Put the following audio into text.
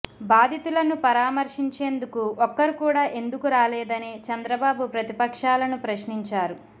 బాధితులను పరామర్శించేందుకు ఒక్కరు కూడా ఎందుకు రాలేదని చంద్రబాబు ప్రతిపక్షాలను ప్రశ్నించారు